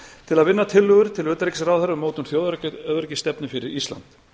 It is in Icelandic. til að vinna tillögur til þáverandi utanríkisráðherra um mótun þjóðaröryggisstefnu fyrir ísland